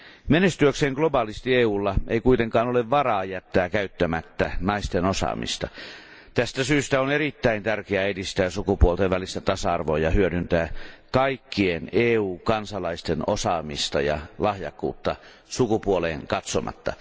Menestyäkseen globaalisti EUlla ei kuitenkaan ole varaa jättää käyttämättä naisten osaamista. Tästä syystä on erittäin tärkeää edistää sukupuolten välistä tasa arvoa ja hyödyntää kaikkien EU kansalaisten osaamista ja lahjakkuutta sukupuoleen katsomatta.